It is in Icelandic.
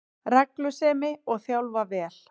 Reglusemi, og þjálfa vel